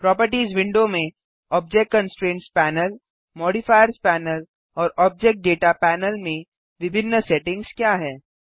properties window में object constraints panel modifiers panel और object data panel में विभिन्न सेटिंग्स क्या हैं